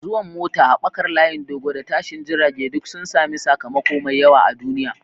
Zuwan mota, haɓakar layin dogo, da tashin jirage duk sun sami sakamako mai yawa a duniya.